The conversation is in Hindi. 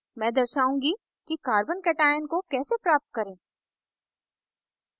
मैं दर्शाउंगी कि carbocation को कैसे प्राप्त करें